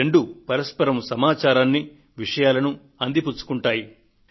ఆ రెండు పరస్పరం సమాచారాన్ని విషయాలను అందిపుచ్చుకుంటాయి